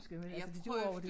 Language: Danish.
Jeg prøvede